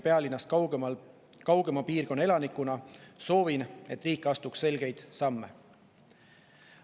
Pealinnast kaugema piirkonna elanikuna soovin, et riik astuks selgeid samme.